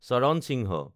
চৰণ সিংহ